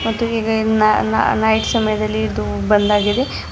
ನಾ ನಾ ನೈಟ್ ಸಮಯದಲ್ಲಿ ಇದು ಬಂದಾಗಿದೆ.